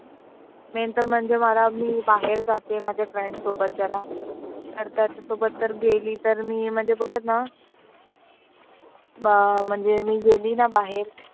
वेळ तर मला मी बाहेर जाते friends सोबत जरा. तर त्यांच्यासोबत गेली मी तर ते बोलतात ना अं म्हणजे मी गेली ना बाहेर.